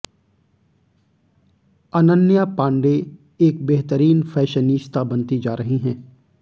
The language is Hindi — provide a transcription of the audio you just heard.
अनन्या पांडे एक बेहतरीन फैशनीस्ता बनती जा रही हैं